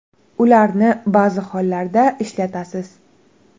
Ularni ba’zi hollarda ishlatasiz.